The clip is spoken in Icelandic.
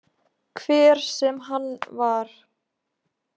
Hver sem hann var.